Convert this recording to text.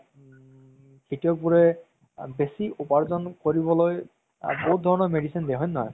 খেতিয়কবোৰে বেচি উপাৰ্জন কৰিবলৈ বহুত ধৰণৰ medicine দিয়ে হয় নে নহয়